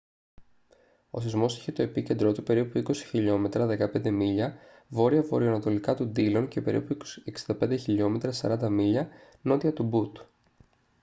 ο σεισμός είχε το επίκεντρό του περίπου 20 χιλιόμετρα 15 μίλια βόρεια-βορειοανατολικά του ντίλον και περίπου 65 χιλιόμετρα 40 μίλια νότια του μπουτ